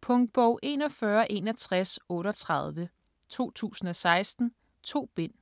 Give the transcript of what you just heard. Punktbog 416138 2016. 2 bind.